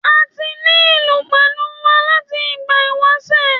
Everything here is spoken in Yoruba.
A ti ní ìlú pẹ̀lú wa láti ìgbà ìwásẹ̀.